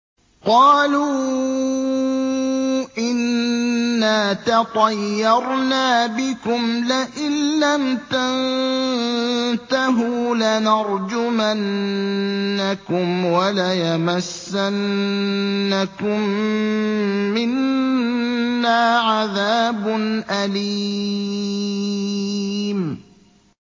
قَالُوا إِنَّا تَطَيَّرْنَا بِكُمْ ۖ لَئِن لَّمْ تَنتَهُوا لَنَرْجُمَنَّكُمْ وَلَيَمَسَّنَّكُم مِّنَّا عَذَابٌ أَلِيمٌ